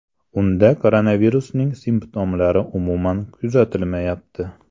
Unda koronavirusning simptomlari umuman kuzatilmayapti.